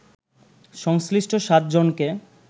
সংশ্লিষ্ট সাত জনকে